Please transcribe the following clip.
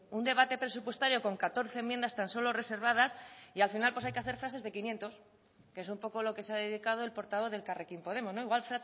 un debate presupuestario con catorce enmiendas tan solo reservadas y al final pues hay que hacer frases de quinientos que es un poco lo que se ha dedicado el portavoz de elkarrekin podemos o igual